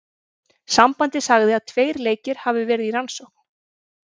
Sambandið sagði að tveir leikir hafi verði í rannsókn.